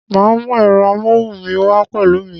Ma mú ẹ̀rọ amóhùn mi wá pẹ̀lú mi